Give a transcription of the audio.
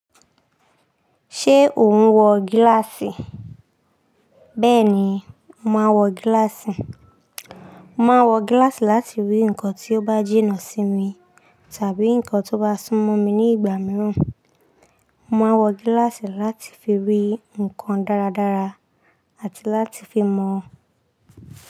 Ṣé ò ń wọ gíláàsì? Bẹ́ẹ̀ni, mo màá ń wọ gíláàsì. Màá ń wọ gíláàsì láti rí nǹkan tí ó bá jínà sí mi tàbí nǹkan tó bá súnmọ́ mi ní ìgbà mìíràn. Màá wọ gíláàsì láti fi rí nǹkan dáradára àti láti fi mọ̀